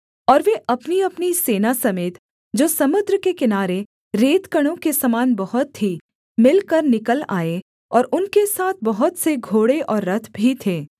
और वे अपनीअपनी सेना समेत जो समुद्र के किनारे रेतकणों के समान बहुत थीं मिलकर निकल आए और उनके साथ बहुत से घोड़े और रथ भी थे